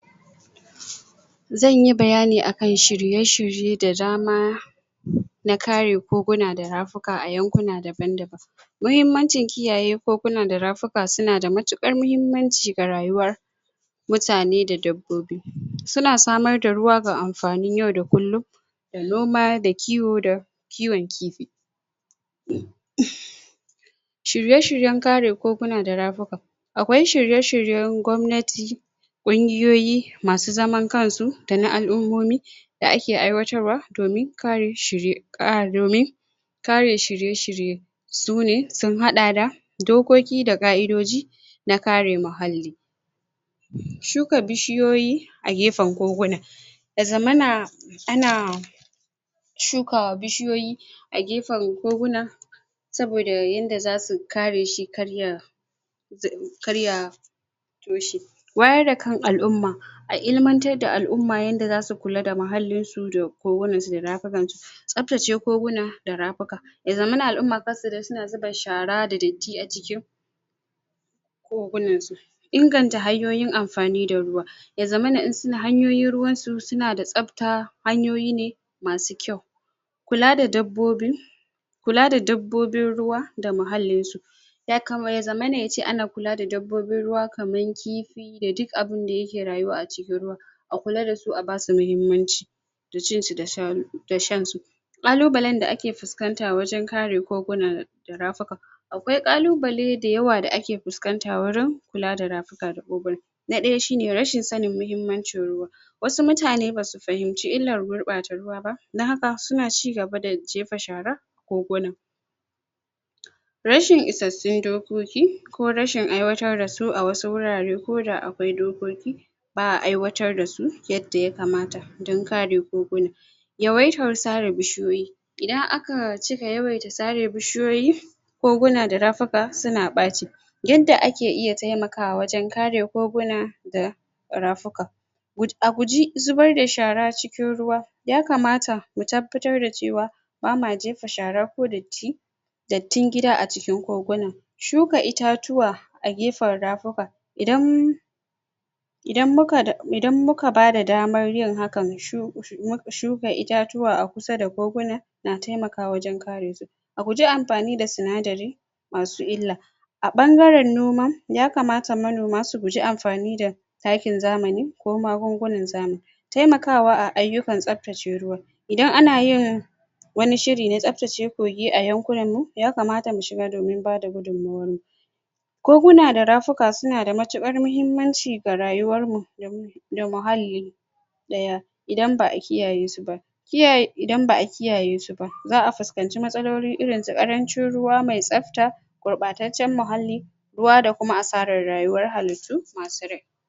Zan yi bayyani a kan shirye-shirye da dama na ƙare koguna da rafuka a yankuna daban-daban mahimmancin kiyaye koguna da rafuka su na da matukar mahimmanci ga rayuwar mutane da dabbobi, su na samar da ruwa ga amfanin yau da kullum da noma da kiwo da kiwon kifi shirye-shiryen kare koguna da rafuka akwai shirye-shiryen gwamnati ƙunguyoyi ma su zaman kansu da na alumunmomi da a ke aiwatarwa domin ƙari shirye kar domin kare shirye-shirye su ne sun hada da da dokoki da kaidojina kare muhalli shuka bishiyoyi a gefen koguna da zamana a na shuka bishiyoyi, a gefen koguna saboda yanda zasu kare shi karya karya kan alumma a ilimantar da alumma yanda za su kulla da muhalin su da kogunan su da rafukan su saptace koguna da rafuka ya zammana alumma kan su dai su na zuba shara da datti a ciki kogunan su, inganta hanyoyin amfani da ruwa ya zammana in sun hanyoyin ruwan su, su na da sapta hanyoyi ne masu kyau kulla da dabbobi kulla da dabbobin ruwa da mahalin su. ya zamane ya ce a na kulla da dabbobin ruwa kamar kifi da duk abunda ya ke rayuwa a cikin ruwa a kulla da su a ba su mahimmanci da cin su da sha ru, da shan su kallu ɓalle da a ke fuscanta wajen ƙarin koguna da rafuka, Akwai kalluɓalle dayawa da ake fuscanta wurin kulla da rafuka da koguna na daya shi ne rashin sani muhimmancin ruwa wasu mutane ba su fahinci illa gurɓa ta ruwa dan haka su na cigaba da jefa shara koguna rashin isasun dokoƙi ko rashin aiwatar da su a wasu wurare ko da akwai doƙoƙi baa aiwatar da su ydda ya kamata dan ƙare koguna. Yawaitar sara bishiyoyi idan a ka ci ga yawwai da tsari bishiyoyi koguna da rafuka su na bace yadda a ke iya taimakawa a wajen kare koguna da rafuka wut a gujji zubar da shara cikin ruwa ya kamata mu tabbatar da cewa ba ma jefa shara ko datti dattin gida a cikin koguna shukka itatuwa, a gefan rafuka idan idan mu ka, idan mu ka ba da damar yin hakkan mu shu mu shukka itatuwa a kusa da koguna na taimakwa wajen kare A guje a amfani da tsinadari ma su illa A bangaren noma, ya kamata manoma su guji amfani da takkin zamani, ko magungunnan zamani taimakawa a ayukar sabtacce ruwa, idan a na yin wani shiri na sabtace kogi a yankunan mu, ya kamata mu shiga domin ba da koguna da rafuka suna da matuƙar mahimmanci da rayuwar mu da muhalli daya idan baa kiyaye su ba kiya, idan baa kiyaye su ba zaa fuskanci matsololi irin su ƙarancin ruwa mai sapta kurbataccen muhalli ruwa da kuma asarar rayuwar hallatu ma su rai.